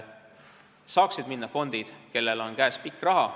Saaksid minna fondid, kellel on käes pikk raha.